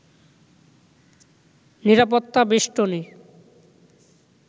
নিরাপত্তা বেষ্টনী